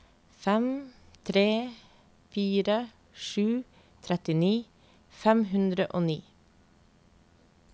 fem tre fire sju trettini fem hundre og ni